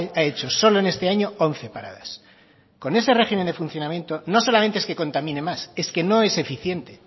ha hecho solo en este año once paradas con ese régimen de funcionamiento no solamente es que contamine más es que no es eficiente